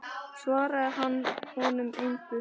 Svaraði hann honum engu.